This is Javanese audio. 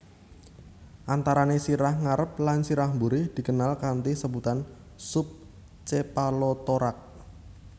Antarané sirah ngarep lan sirah buri dikenal kanthi sebutan sub chepalothorax